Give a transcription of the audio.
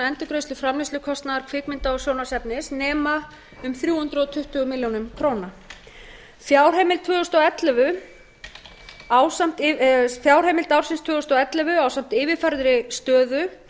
endurgreiðslu framleiðslukostnaðar kvikmynda og sjónvarpsefnis nema um þrjú hundruð tuttugu milljónir króna fjárheimild tvö þúsund og ellefu ásamt yfirfærðri stöðu